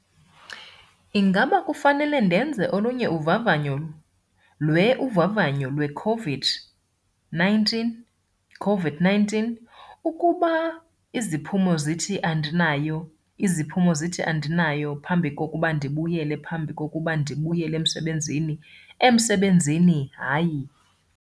Ingaba kufanele [-]ndenze olunye uvavanyo lwe-uvavanyo lweCOVID-19COVID-19, ukuba iziphumo zithi andinayo, iziphumo zithi andinayo, phambi kokuba ndibuyelephambi kokuba ndibuyeleemsebenzini? emsebenzini? Hayi.